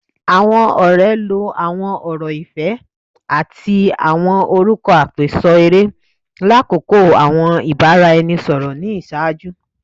Awọn ọrẹ lo awọn ọrọ ifẹ ati awọn orukọ apeso ere lakoko awọn ibaraẹnisọrọ ni iṣaaju